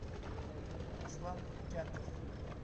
аслан кятов